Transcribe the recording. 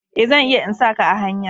Eh, zan iya in sa ka a hanya.